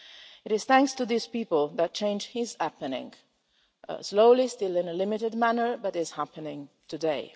It is thanks to these people that change is happening slowly and still in a limited manner but is happening today.